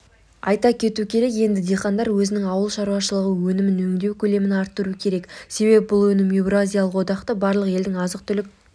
айта кету керек енді диқандар өзінің ауыл шаруашылығы өнімін өңдеу көлемін арттыру керек себебі бұл өнім еуразиялық одақтағы барлық елдің азық-түлік